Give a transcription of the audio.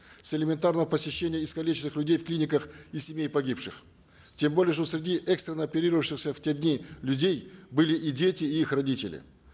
с элементарного посещения искалеченных людей в клиниках и семей погибших тем более что среди экстренно оперировавшихся в те дни людей были и дети и их родители